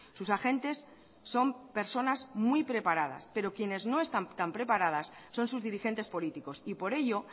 sus agentes son personas muy preparadas pero quienes no están tan preparadas son sus dirigentes políticos y por ello